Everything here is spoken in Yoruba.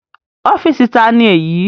Ọ́fìsì ta ni èyí?